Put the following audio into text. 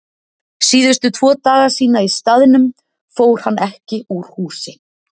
Síðustu tvo daga sína í staðnum fór hann ekki úr húsi.